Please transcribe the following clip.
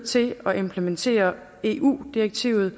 til at implementere eu direktivet